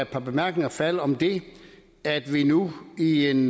par bemærkninger falde om det at vi nu i en